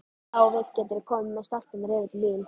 Ef þú vilt geturðu komið með stelpurnar yfir til mín.